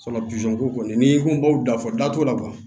ko kɔni ni ko baw da fɔ da t'o la